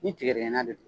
Ni tigɛdigɛnna de don